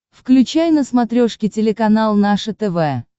включай на смотрешке телеканал наше тв